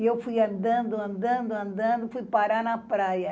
E eu fui andando, andando, andando, fui parar na praia.